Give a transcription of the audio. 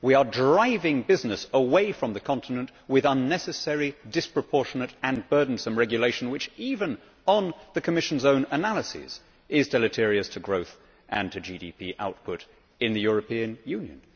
We are driving business away from the continent with unnecessarily disproportionate and burdensome regulation which, even on the Commission's own analysis, is deleterious to growth and GDP output in the European Union.